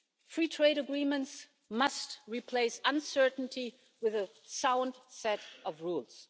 Free trade agreements must replace uncertainty with a sound set of rules.